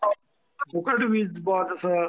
हो. फुकट वीज आहे तसं.